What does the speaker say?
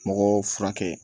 Mɔgɔw furakɛ